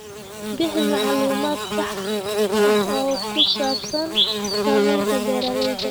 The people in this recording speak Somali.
Bixi macluumaad sax ah oo ku saabsan saamaynta beeralayda.